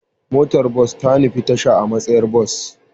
Motar bas ta nufi tasha a matsayar bas.